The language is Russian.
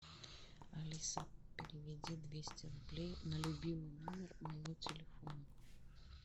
алиса переведи двести рублей на любимый номер моего телефона